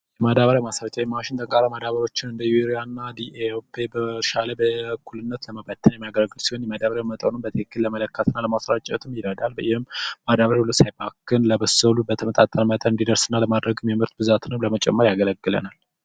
ማዳበሪያ ማሰራጫ የማሽን ተቃራኒወችን እንደ ዩሪያ ደኤ በርሻ ላይ ለመመጠን የሚያገለግል ሲሆን የማዳበሪያዉን አሰጣጥ በኩልነት ለመስጠት የበሰሉ በተመጣጠነ መልኩ እንዲደርሱና የምርት ብዛትን ለመመጠን ያገለግላል